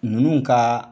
Ninnu ka